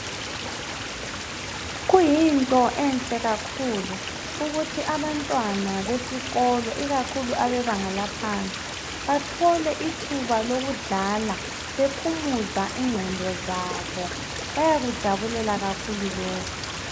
Kuyinto enhle kakhulu ukuthi abantwana besikolo ikakhulu abebanga laphansi bathole ithuba lokudlala bephumuza ingqondo zabo bayakujabulela kakhulu lokho.